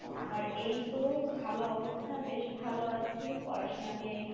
আমার এইতো ভালো অবস্থা বেশ ভালো আছি পড়াশোনা নিয়ে,